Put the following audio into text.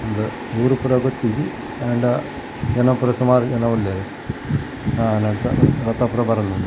ಉಂದ್ ಊರು ಪೂರ ಗೊತ್ತಿಜ್ಜಿ ಆಂಡ ಜನ ಪೂರ ಸುಮಾರ್ ಜನ ಉಲ್ಲೆರ್ ಆ ರಥ ಪೂರ ಬರೊಂದುಂಡು.